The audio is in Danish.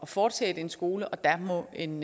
fortsætte en skole og der må en